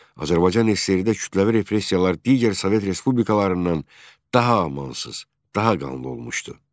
Azərbaycan SSRİ-də kütləvi repressiyalar digər Sovet respublikalarından daha amansız, daha qanlı olmuşdu.